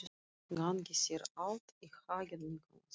Gangi þér allt í haginn, Nikolas.